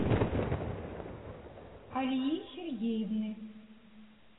алии сергеевны